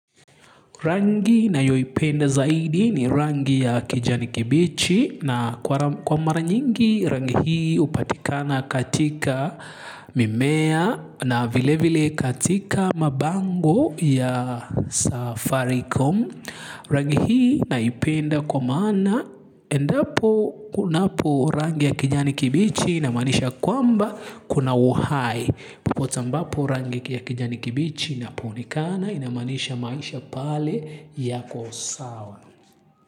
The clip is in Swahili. Rangi nayoi penda zaidi ni rangi ya kijani kibichi na kwa mara nyingi rangi hii hupatikana katika mimea na vile vile katika mabango ya safaricom. Rangi hii naipenda kwa mana endapo kunapo rangi ya kijani kibichi inamanisha kwamba kuna uhai. Popote ambapo rangi ya kijani kibichi inaponekana inamanisha maisha pale ya kosawa.